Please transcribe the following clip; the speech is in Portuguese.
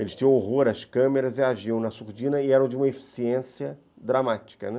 Eles tinham horror às câmeras e agiam na surdina e eram de uma eficiência dramática, né?